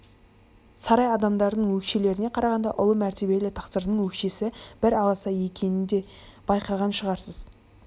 сарай адамдарының өкшелеріне қарағанда ұлы мәртебелі тақсырдың өкшесі бір аласа екенін де байқаған шығарсыз